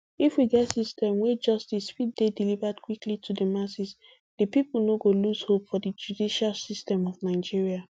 if we get system wey justice fit dey delivered quickly to di masses di pipo no go lose hope for di judicial system of nigeria